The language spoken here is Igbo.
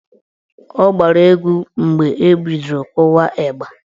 Ọ gbara egwu mgbe ebidoro kụwa ịgba.